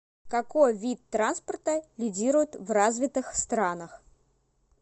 какой вид транспорта лидирует в развитых странах